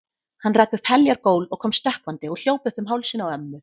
Hann rak upp heljar gól og kom stökkvandi og hljóp upp um hálsinn á ömmu.